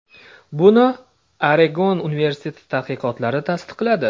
Buni Oregon universiteti tadqiqotlari tasdiqladi.